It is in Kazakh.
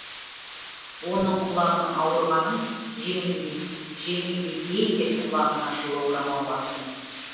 оның құлағының ауырғанын жеңілдетейін деп құлағына жылы орамал бастым